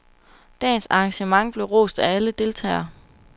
Dagens arrangement blev rost af alle deltagere.